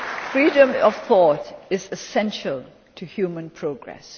Freedom of thought is essential to human progress.